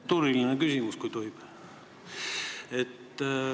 Protseduuriline küsimus, kui tohib.